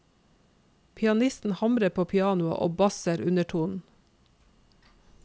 Pianisten hamrer på pianoet og basser undertonen.